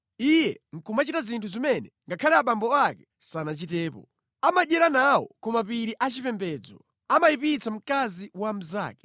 Iye nʼkumachita zinthu zimene ngakhale abambo ake sanachitepo. “Amadyera nawo ku mapiri achipembedzo. Amayipitsa mkazi wa mnzake.